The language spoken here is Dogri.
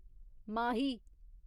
माही